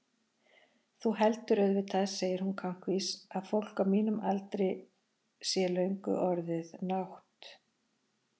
Þú heldur auðvitað, segir hún kankvís, að fólk á mínum aldri sé löngu orðið nátt-